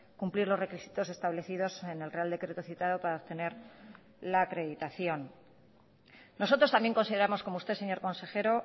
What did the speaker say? cumplir los requisitos establecidos en el real decreto citado para obtener la acreditación nosotros también consideramos como usted señor consejero